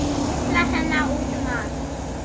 Geislar hennar út um allt